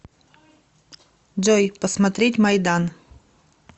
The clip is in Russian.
джой посмотреть майдан